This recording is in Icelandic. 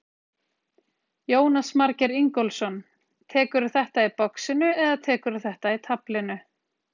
Jónas Margeir Ingólfsson: Tekurðu þetta í boxinu eða tekurðu þetta í taflinu?